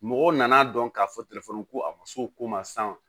Mɔgɔw nan'a dɔn k'a fɔ ko a ma so ko ma san